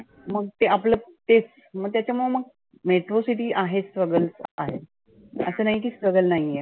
मग ते आपलं तेच मग त्याच्यामुळ मग metro city आहे struggle आहे. असं नाही की struggle नाहीए.